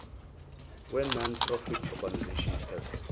wenonprofit organisations act